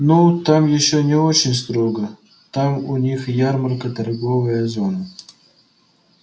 ну там ещё не очень строго там у них ярмарка торговая зона